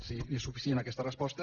si és suficient aquesta resposta